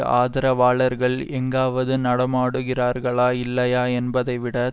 ஆதரவாளர்கள் எங்காவது நடமாடுகிறார்களா இல்லையா என்பதைவிட